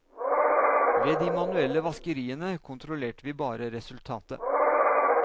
Ved de manuelle vaskeriene kontrollerte vi bare resultatet.